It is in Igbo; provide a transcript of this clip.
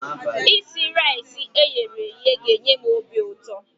Isi raisi eyere eye a ga-enye m obi ụtọ.